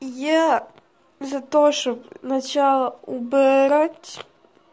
я за то что начала убрать